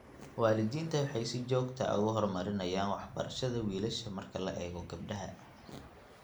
Waalidiintu waxay si joogta ah uga hormariyaan waxbarashada wiilasha marka loo eego gabdhaha.